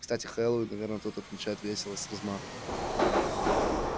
кстати хэллоуин наверное тут отмечают весело с размахом